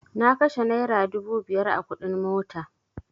Na kashe naira dubu biyar a kuɗin mota